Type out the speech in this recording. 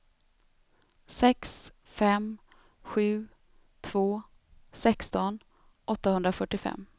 sex fem sju två sexton åttahundrafyrtiofem